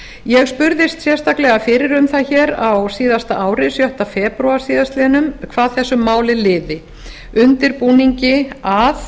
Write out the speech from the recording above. ég spurðist sérstaklega fyrir um það hér á síðasta ári sjötta febrúar síðastliðinn hvað þessu máli liði undirbúningi að